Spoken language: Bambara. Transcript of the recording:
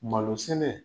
Malo sɛnɛ